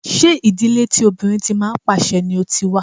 Ṣé ìdílé tí obìnrin tí ń pàṣe ni o ti wá?